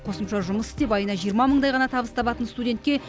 қосымша жұмыс істеп айына жиырма мыңдай ғана табыс табатын студентке